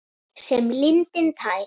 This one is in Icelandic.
Sem lindin tær.